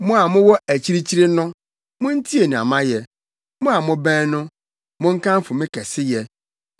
Mo a mowɔ akyirikyiri no, muntie nea mayɛ; mo a mobɛn no, monkamfo me kɛseyɛ!